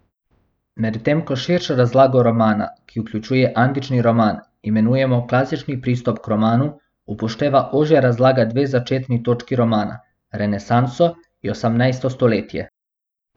Medtem ko širšo razlago romana, ki vključuje antični roman, imenujemo klasični pristop k romanu, upošteva ožja razlaga dve začetni točki romana, renesanso in osemnajsto stoletje.